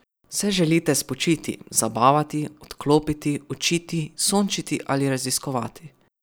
Se želite spočiti, zabavati, odklopiti, učiti, sončiti ali raziskovati?